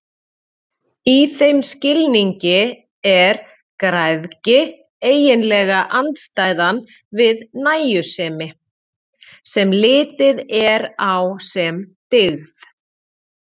Í þeim skilningi er græðgi eiginlega andstæðan við nægjusemi, sem litið er á sem dygð.